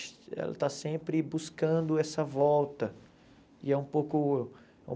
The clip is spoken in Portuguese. Ela está sempre buscando essa volta e é um pouco